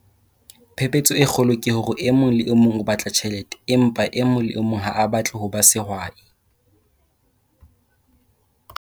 Phephetso e kgolo ke hore e mong le e mong o batla tjhelete, empa e mong le e mong ha a batle ho ba sehwai.